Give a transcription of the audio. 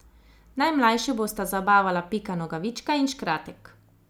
Najmlajše bosta zabavala Pika Nogavička in Škratek.